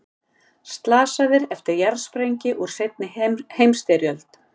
Slasaðir eftir jarðsprengju úr seinni heimsstyrjöld